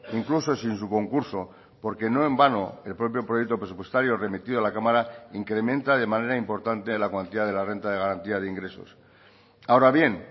incluso sin su concurso porque no en vano el propio proyecto presupuestario remitido a la cámara incrementa de manera importante la cuantía de la renta de garantía de ingresos ahora bien